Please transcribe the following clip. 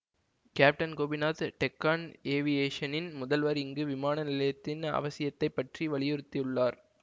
captain Gopinath Deccan ஏவியேஷனின் முதல்வர் இங்கு விமான நிலையத்தின் அவசியத்தைப்பற்றி வலியுறுத்தியுள்ளார்